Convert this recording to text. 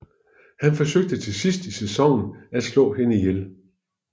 Han forsøger til sidst i sæsonen at slå hende ihjel